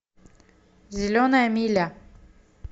зеленая миля